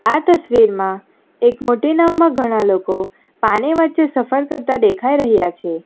આ તસ્વીરમાં એક મોટી નાવમાં ઘણા લોકો પાણી વચ્ચે સફર કરતા દેખાઈ રહ્યા છે.